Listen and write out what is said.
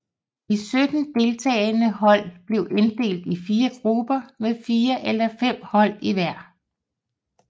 De 17 deltagende hold blev inddelt i fire grupper med fire eller fem hold i hver